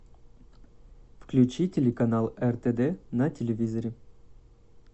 включи телеканал ртд на телевизоре